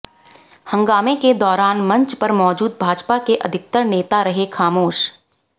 हंगामे के दौरान मंच पर मौजूद भाजपा के अधिकतर नेता रहे खामोश